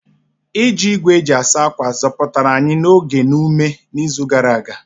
Iji igwe ịsa ákwà zọpụtara anyị oge na ume n'izu gara aga.